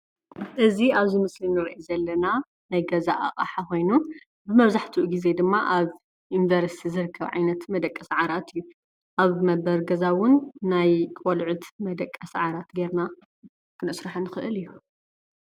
እዚ ኣብዚ ምስሊ እንሪኦ ዘለና ናይ ገዛ ኣቕሓ ኮይኑ መብዛሕቲኡ ግዜ ድማ ኣብ ዩኒቨርሲቲ ዝርከብ ዓይነት መደቀሲ ዓራት እዩ። ኣብ መንበሪ ገዛ እዉን ናይ ቆልዑት መደቀሲ ዓራት ጌርና ክነስርሖ ንኽእል እዩ።